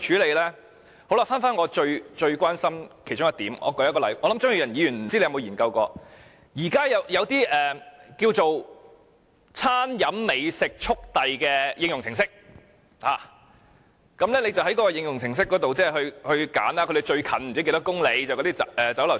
回到我最關心的其中一點，不知道張宇人議員曾否研究過，現時有一種"餐飲美食速遞"的應用程式，購買者可在這程式上選擇附近某公里內的食肆落單。